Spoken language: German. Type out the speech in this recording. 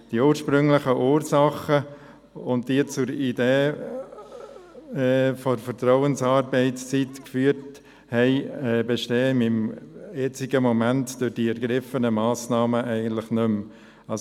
Die ursprünglichen Ursachen, die zur Idee der Vertrauensarbeitszeit geführt haben, bestehen derzeit durch die bereits ergriffenen Massnahmen eigentlich nicht mehr.